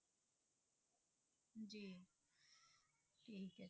ਠੀਕ ਹੈ